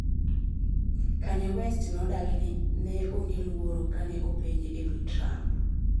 Kanye West nodagi ni ne onge luoro kane openje ewi Trump